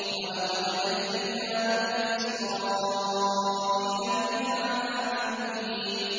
وَلَقَدْ نَجَّيْنَا بَنِي إِسْرَائِيلَ مِنَ الْعَذَابِ الْمُهِينِ